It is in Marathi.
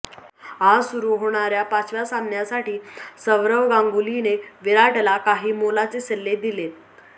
आज सुरू होणाऱ्या पाचव्या सामन्यासाठी सौरव गांगुलीने विराटला काही मोलाचे सल्ले दिलेत